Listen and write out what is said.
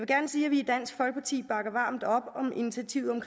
gerne sige at vi i dansk folkeparti bakker varmt op om initiativet